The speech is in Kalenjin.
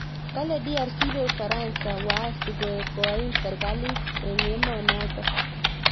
Kale DRC ibei ufaransa waasi koim serkalit eng emenoto